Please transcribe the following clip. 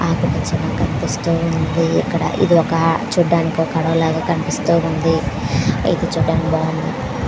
ఏది చిన్నగా కనిపస్తుంది ఏది ఒక చూడ టానికి అడవి లాగా కనిపిస్తూ ఉన్నదీ ఏది చూడటానికి బాగుంది.